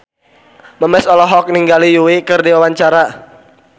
Memes olohok ningali Yui keur diwawancara